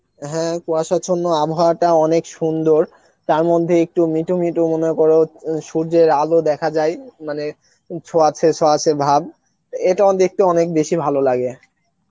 হ্যাঁ কুয়াশার জন্য আবহাওয়াটা অনেক সুন্দর তার মধ্যে একটু মিঠু মিঠু মনে করো সূর্যের আলো দেখা যায় মানে ছোঁয়াচে ছোঁয়াচে ভাব এটাও দেখতে অনেক বেশি ভালো লাগে